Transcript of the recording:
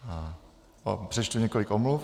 Přečtu několik omluv.